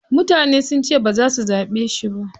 Mutane sun ce baza su zaɓe shi ba.